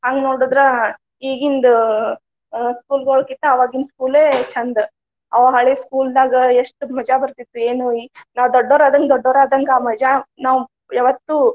ಹಂಗ್ ನೋಡಿದ್ರ ಈಗಿಂದ ಅ school ಗಳಕ್ಕಿಂತಾ ಅವಾಗಿನ school ಎ ಚಂದ. ಆ ಹಳೆ school ನ್ಯಾಗ ಎಷ್ಟ ಮಜಾ ಬರ್ತಿತ್ತು ಎನ ಹೇಳಲಿ. ನಾವ ದೊಡ್ಡೋವ್ರ ಆದಂಗ, ದೊಡ್ಡೋವ್ರ ಆದಂಗ ಆ ಮಜಾ ನಾವ್ ಯಾವತ್ತು.